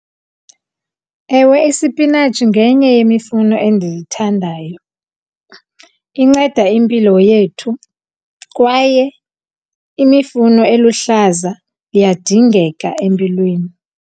Ewe, isipinatshi ngenye yemifuno endiyithandayo. Inceda impilo yethu kwaye imifuno eluhlaza iyadingeka empilweni.